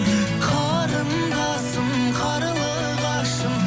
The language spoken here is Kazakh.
қарындасым қарлығашым